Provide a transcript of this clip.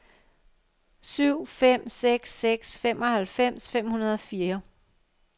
syv fem seks seks femoghalvfems fem hundrede og fire